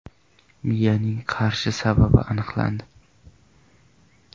Miyaning qarishi sababi aniqlandi.